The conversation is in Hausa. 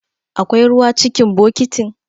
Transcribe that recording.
Akwai ruwa cikin bokitin?